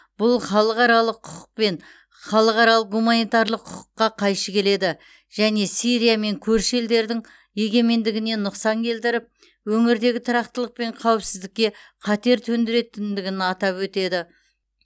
бұл халықаралық құқық пен халықаралық гуманитарлық құқыққа қайшы келеді және сирия мен көрші елдердің егемендігіне нұқсан келтіріп өңірдегі тұрақтылық пен қауіпсіздікке қатер төндіретіндігін атап өтеді